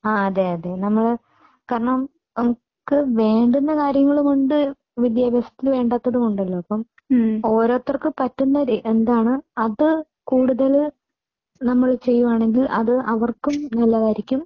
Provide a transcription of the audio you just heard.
ആ അതെയതെ. നമ്മൾ കാരണം അവർക്ക് വേണ്ടുന്ന കാര്യങ്ങളുമുണ്ട് വിദ്യാഭ്യാസത്തിൽ വേണ്ടാത്തതുമുണ്ടല്ലോ. ഓരോരുത്തർക്കും പറ്റുന്നത് എന്താണോ അത് കൂടുതൽ നമ്മൾ ചെയ്യാണെങ്കിൽ അത് അവർക്കും നല്ലതായിരിക്കും